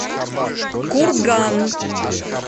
курган